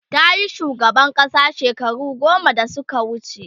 tayi shugaban ƙasa shekaru goma da Suka wuce